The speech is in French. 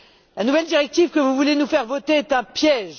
La nouvelle directive que vous voulez nous faire voter est un piège.